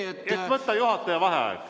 Et võtta juhataja vaheaeg.